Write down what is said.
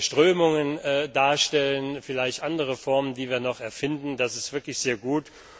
Strömungen darstellen, vielleicht andere Formen, die wir noch erfinden das ist wirklich sehr gut.